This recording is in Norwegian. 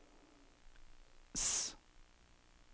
S